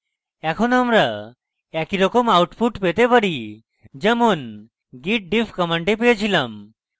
এখন আমরা একইরকম output দেখতে পারি যেমন git diff command পেয়েছিলাম